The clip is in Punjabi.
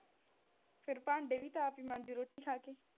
ਫਿਰ ਭਾਂਡੇ ਵੀ ਤਾਂ ਆਪ ਈ ਮਾਂਜ਼ੂ ਰੋਟੀ ਖਾ ਕੇ